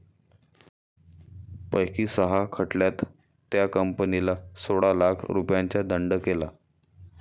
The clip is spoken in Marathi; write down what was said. पैकी सहा खटल्यात त्या कंपनीला सोळा लाख रुपयांचा दंड केला